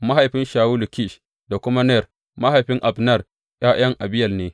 Mahaifin Shawulu, Kish da kuma Ner mahaifin Abner, ’ya’yan Abiyel ne.